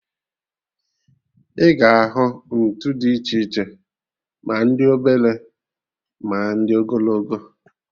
Ị ga ahụ ntụ dị iche iche, ma ndị obele, ma ndị ogologo